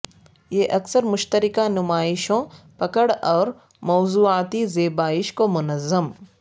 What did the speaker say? یہ اکثر مشترکہ نمائشوں پکڑ اور موضوعاتی زیبائش کو منظم